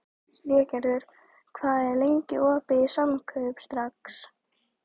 Végerður, hvað er lengi opið í Samkaup Strax?